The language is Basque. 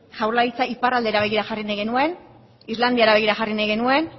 jaurlaritza iparraldera begira jarri nahi genuen islandiara begira jarri nahi genuen